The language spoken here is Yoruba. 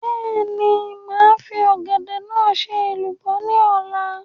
Bẹ́ẹ̀ni, màá fi Ọ̀gẹ̀dẹ̀ náà ṣe èlùbọ́ ní ọ̀la